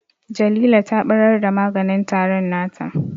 Jalila ta ɓarar da maganin tarin nata